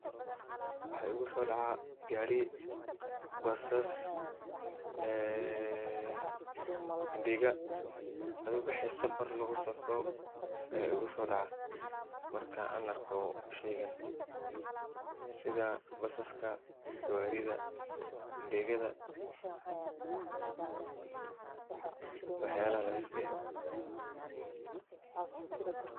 Waxa igusodaca gari, basas, ee indega, adhi wixi safar lagusafro aya igusodaco marka an arko sheygan sidha basaska, gawarida indegadha iyo waxyabaha lamidka eh .